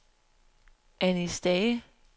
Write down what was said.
Anni Stage